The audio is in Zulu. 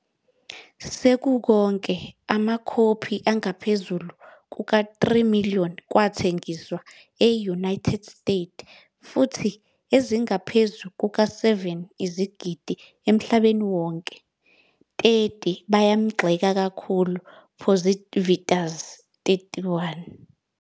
Sekukonke, amakhophi angaphezu kuka-3 million kwathengiswa e-United States futhi ezingaphezu kuka-7 izigidi emhlabeni wonke, 30 bayamgxeka kakhulu positivas.31